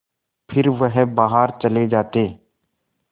फिर वह बाहर चले जाते